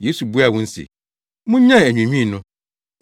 Yesu buaa wɔn se, “Munnyae anwiinwii no.